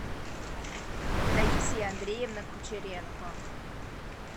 таисия андреевна кучеренко